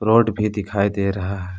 Board भी दिखाई दे रहा है।